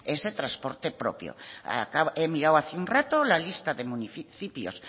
ese trasporte propio he mirado hace un rato la lista de municipios